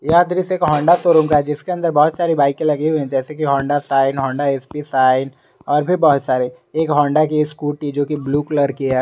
यह दृश्य एक होंडा शोरूम का है जिसके अंदर बहुत सारी बाईकें लगी हुई हैं जैसे की Honda Shine Honda S P Shine और भी बहुत सारे एक होंडा की एक स्कूटी जो कि ब्लू कलर की है।